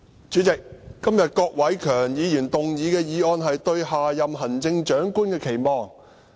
主席，今天郭偉强議員動議的議案是"對下任行政長官的期望"。